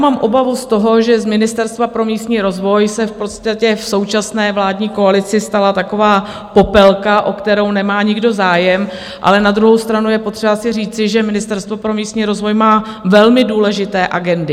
Mám obavu z toho, že z Ministerstva pro místní rozvoj se v podstatě v současné vládní koalici stala taková popelka, o kterou nemá nikdo zájem, ale na druhou stranu je potřeba si říci, že Ministerstvo pro místní rozvoj má velmi důležité agendy.